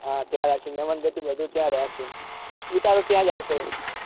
હા ત્યાં રાખ્યું મહેમાનગતિ બધું ત્યાં રાખ્યું છે ઉતારો ત્યાં જ આલશે